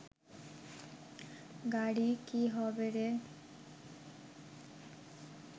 গাড়ি কি হবে রে